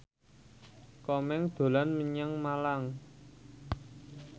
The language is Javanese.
Komeng dolan menyang Malang